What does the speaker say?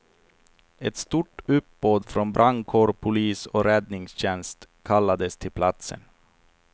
Ett stort uppbåd från brandkår, polis och räddningstjänst kallades till platsen.